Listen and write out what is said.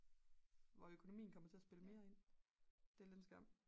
hvor økonomien kommer til at spille mere ind det er lidt en skam